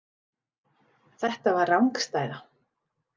Þetta var rangstæða.